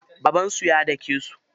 Babansu ya dake su.